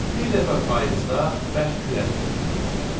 Bir dəfə payızda bərk külək qopdu.